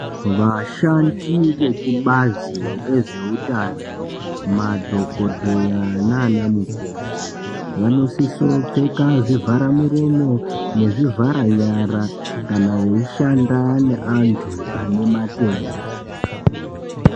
Vashandi vekubhazi rezvehutano, madhokodheya nanamukoti vanosise pfeka zvivhara muromo nezvivhara nyara kana vayishanda ne antu anematenda.